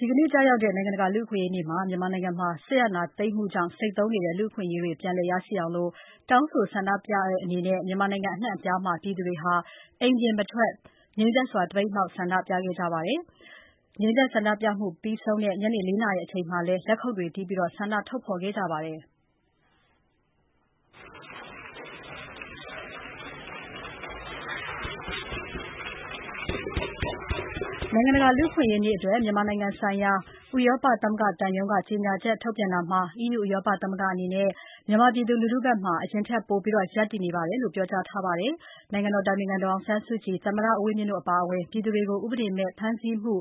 ဒီနေ့ ကျရောက်တဲ့ နိုင်ငံတကာ လူ့အခွင့်အရေးနေ့မှာ မြန်မာနိုင်ငံမှာ စစ်အာဏာသိမ်းမှုကြောင့် ဆိတ်သုဉ်းနေတဲ့ လူ့အခွင့်အရေးတွေပြန်လည်ရရှိအောင် တောင်းဆိုဆန္ဒပြတဲ့အနေနဲ့ မြန်မာနိုင်ငံ အနှံ့အပြားမှာ ပြည်သူတွေဟာ အိမ်ပြင်မထွက် ငြိမ်သက်စွာ သပိတ်မှောက် ဆန္ဒပြခဲ့ကြပါတယ်။ ငြိမ်သက်ဆန္ဒပြမှု ပြီးဆုံးတဲ့ ညနေ ၄ နာရီအချိန်မှာလည်း လက်ခုပ်တွေတီးပြီး ဆန္ဒထုတ်ဖော်ခဲ့ကြပါတယ်။ နိုင်ငံတကာ လူ့အခွင့်အရေးနေ့အတွက် မြန်မာနိုင်ငံဆိုင်ရာ ဥရောပသမဂ္ဂသံရုံးက ကြေညာချက်ထုတ်ပြန်တာမှာ EU ဥရောပသမဂ္ဂအနေနဲ့ မြန်မာပြည်သူလူထုဘက်မှာ အရင်ထက်ပိုပြီး ရပ်တည်နေပါတယ်လို့ ပြောကြားထားပါတယ်။ နိုင်ငံတော်အတိုင်ပင်ခံပုဂ္ဂိုလ် ဒေါ်အောင်ဆန်းစုကြည်၊ သမ္မတဦးဝင်းမြင့်တို့အပါအဝင် ပြည်သူတွေကို ဥပဒေမဲ့ ဖမ်းဆီးမှု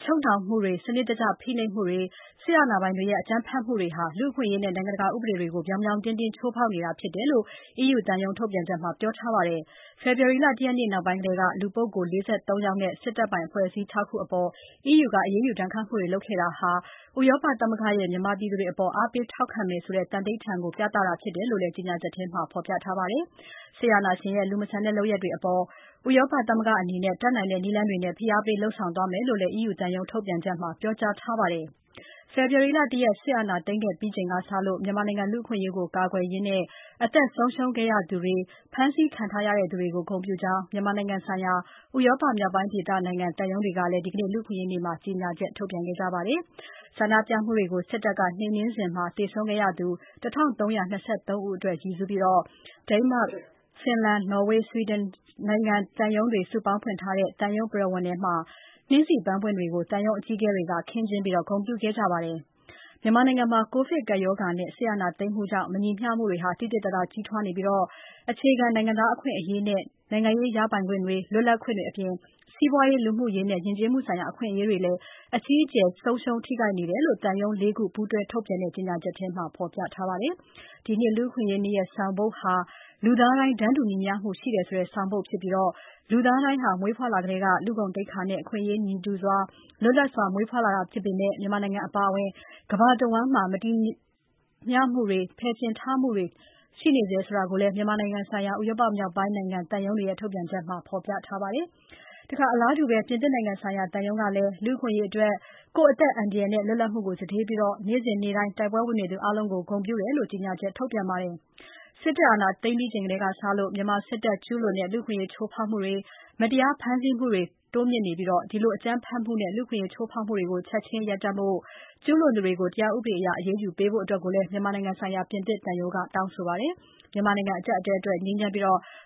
၊ ချုပ်နှောင်မှုတွေ၊ စနစ်တကျဖိနှိပ်နေမှုတွေ စစ်တပ်အာဏာပိုင်တွေရဲ့ အကြမ်းဖက်မှုတွေဟာ လူ့အခွင့်အရေးနဲ့ နိုင်ငံတကာဥပဒေတွေကို ပြောင်ပြောင်တင်းတင်းချိုးဖောက်နေတာဖြစ်တယ်လို့ EU သံရုံး ထုတ်ပြန်ချက်မှာ ပြောထားပါတယ်။ ဖေဖော်ဝါရီလ ၁ ရက်နေ့ နောက်ပိုင်းထဲက လူပုဂ္ဂိုလ် ၄၃ ယောက်နဲ့ စစ်တပ်ပိုင်အဖွဲ့အစည်း ၆ ခုအပေါ် EU က အရေးယူဒဏ်ခတ်မှုတွေ လုပ်ခဲ့တာဟာ ဥရောပသမဂ္ဂရဲ့ မြန်မာပြည်သူတွေအပေါ် အားပေးထောက်ခံမယ်ဆိုတဲ သန္နိဋ္ဌာန်ကို ပြသတာဖြစ်တယ်လို့လည်း ကြေညာချက်ထဲမှာ ဖော်ပြထားပါတယ်။ စစ်အာဏာရှင်ရဲ့ လူမဆန်တဲ့လုပ်ရပ်တွေအပေါ် ဥရောပသမဂ္ဂအနေနဲ့ တတ်နိုင်တဲ့နည်းလမ်းတွေနဲ့ ဖိအားပေးလုပ်ဆောင်သွားမယ်လို့လည်း EU သံရုံး ထုတ်ပြန်ချက်မှာ ပြောကြားထားပါတယ်။ ဖေဖော်ဝါရီလ ၁ ရက် စစ်အာဏာသိမ်းခဲ့ချိန်ကစလို့ မြန်မာနိုင်ငံ လူ့အခွင့်အရေးကို ကာကွယ်ရင်း အသက်ဆုံးရှုံးခဲ့သူတွေ၊ ဖမ်းဆီးခံခဲ့ရသူတွေကို ဂုဏ်ပြုကြောင်း မြန်မာနိုင်ငံဆိုင်ရာ ဥရောပမြောက်ပိုင်းဒေသနိုင်ငံသံရုံးတွေကလည်း ဒီနေ့ လူ့အခွင့်အရေးနေ့မှာ ကြေညာချက် ထုတ်ပြန်ခဲ့ကြပါတယ်။ ဆန္ဒပြမှုတွေကို စစ်တပ်က နှိမ်နှင်းစဉ် သေဆုံးခဲ့ရသူ ၁,၃၂၃ ဦးအတွက်ရည်စူးပြီး Denmark Finland ၊ Norway နဲ့ Sweden နိုင်ငံ သံရုံးတွေ စုပေါင်းဖွင့်ထားတဲ့ သံရုံးပရဝဏ်ထဲမှာနှင်းဆီပန်းပွင့်တွေကို သံရုံးအကြီးအကဲတွေက ခင်းကျင်းဂုဏ်ပြုခဲ့ပါတယ်။ မြန်မာနိုင်ငံမှာ ကိုဗစ်ကပ်ရောဂါနဲ့ စစ်အာဏာသိမ်းမှုကြောင့် မညီမျှမှုတွေ သိသိသာသာကြီးထွားနေပြီး၊ အခြေခံ နိုင်ငံသားအခွင့်အရေးနဲ့ နိုင်ငံရေး ရပိုင်ခွင့်တွေ၊ လွတ်လပ်ခွင့်တွေအပြင် စီးပွားရေး၊ လူမှုရေးနဲ့ ယဉ်ကျေးမှုဆိုင်ရာ အခွင့်အရေးတွေလည်း အကြီးအကျယ် ထိခိုက်နေတယ်လို့ သံရုံး ၄ ခုပူးတွဲထုတ်ပြန်တဲ့ ကြေညာချက်ထဲမှာ ဖော်ပြထားပါတယ်။ ဒီနှစ် လူ့အခွင့်အရေးနေ့ရဲ့ဆောင်ပုဒ်ဟာ လူသားတိုင်း တန်းတူညီမျှမှုရှိတယ်၊ လူသားတိုင်းဟာမွေးဖွားလာကတည်းက လူ့ဂုဏ်သိက္ခာနဲ့ အခွင့်အရေးတူညီစွာ၊ လွတ်လပ်စွာ မွေးဖွားလာတာဖြစ်ပေမဲ့ မြန်မာနိုင်ငံအပါအဝင် ကမ္ဘာတဝန်းမှာ မညီမျှမှုတွေ၊ ဖယ်ကျဉ်ထားမှုတွေ ရှိနေဆဲဖြစ်တယ်လို့လည်း မြန်မာနိုင်ငံဆိုင်ရာ ဥရောပမြောက်ပိုင်းနိုင်ငံသံရုံးတွေရဲ့ ထုတ်ပြန်ချက်မှာ ဖော်ပြထားပါတယ်။ အလားတူ ပြင်သစ်နိုင်ငံဆိုင်ရာ သံရုံးကလည်း လူ့အခွင့်အရေးအတွက် ကိုယ့်အသက်အန္တရာယ်နဲ့ လွတ်လပ်မှုကိုစတေးပြီး နေ့စဉ်နေ့တိုင်း တိုက်ပွဲဝင်နေသူအားလုံးကို ဂုဏ်ပြုတယ်လို့ ကြေညာချက်ထုတ်ပြန်ပါတယ်။ စစ်တပ်အာဏာသိမ်းပြီးချိန်ကစလို့ မြန်မာစစ်တပ်ကကျူးလွန်တဲ့ လူ့အခွင့်အရေး ချိုးဖောက်မှုတွေ၊ မတရားဖမ်းဆီးမှုတွေတိုးမြင့်နေပြီး ဒီလို အကြမ်းဖက်မှုနဲ့ လူ့အခွင့်အရေး ချိုးဖောက်မှုတွေကို ချက်ချင်းရပ်တန့်ဖို့၊ ကျူးလွန်သူတွေကို တရားဥပဒေအရ အရေးယူပေးဖို့လည်း မြန်မာနိုင်ငံဆိုင်ရာ ပြင်သစ်သံရုံးက တောင်းဆိုပါတယ်။ မြန်မာအကျပ်အတည်းအတွက် ငြိမ်းချမ်းပြီး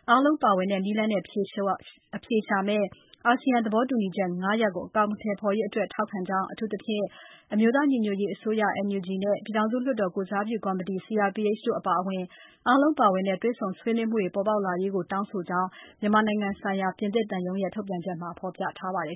အားလုံးပါဝင်တဲ့နည်းလမ်းနဲ့ အဖြေရှာမယ့် အာဆီယံ သဘောတူညီချက်၅ ရပ်ကို အကောင်အထည်ဖော်ရေးအတွက် ထောက်ခံကြောင်းအထူးသဖြင့် အမျိုးသားညီညွတ်ရေးအစိုးရ (NUG) နဲ့ ပြည်ထောင်စုလွှတ်တော်ကိုယ်စားပြုကော်မတီ (CRPH) တို့အပါအဝင် အားလုံးပါဝင်တဲ့ တွေ့ဆုံဆွေးနွေးမှုတွေ ပေါ်ပေါက်လာရေးကို တောင်းဆိုကြောင်း မြန်မာနိုင်ငံဆိုင်ရာ ပြင်သစ်သံရုံးရဲ့ ထုတ်ပြန်ချက်မှာ ဖော်ပြထားပါတယ်